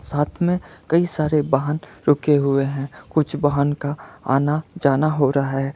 साथ में कई सारे वाहन रुके हुए हैं कुछ बहन का आना जाना हो रहा है।